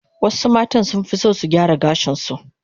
Wasu matan sunfi son su gyara gashin su